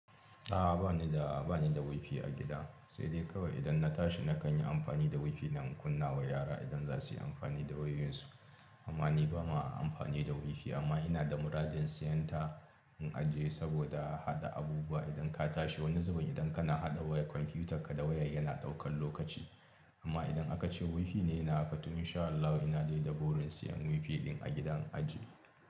A'a, ba ni da, ba ni da wifi a gida. Sai dai kawai idan na tashi na kan yi amfani da wifi na in kunnawa yara idan za su yi amfani da wayoyinsu. Amma ni ba ma amfani da wifi amma ina da muradin siyan ta in ajiye saboda haɗa abubuwa. Idan ka tashi wani zubin idan kana haɗa wayan komfutaka da waya yana ɗaukan lokaci amma idan aka ce wifi ne yana haka to insha Allahi ina dai da burin siyan wifi ɗin a gida in aje.